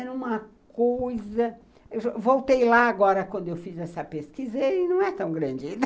Era uma coisa... Voltei lá agora, quando eu fiz essa pesquisa, e não é tão grande.